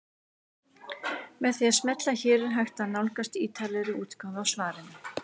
Með því að smella hér er hægt að nálgast ítarlegri útgáfu af svarinu.